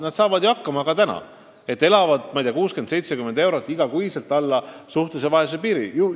Nad saavad ju hakkama ka praegu, kuigi elavad alla suhtelise vaesuse piiri, saades iga kuu 60–70 eurot sellest vähem.